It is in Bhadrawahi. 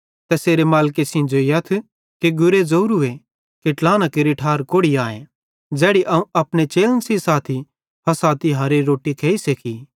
तैसेरे मालिके सेइं ज़ोइयथ कि गुरे ज़ोरूए कि ट्लाहना केरि ठार कोड़ि आए ज़ैड़ी अवं अपने चेलन सेइं साथी फ़सह तिहारेरी रोट्टी खेइ सेखी